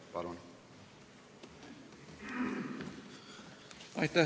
Palun!